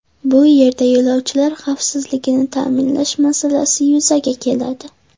Bu yerda yo‘lovchilar xavfsizligini ta’minlash masalasi yuzaga keladi.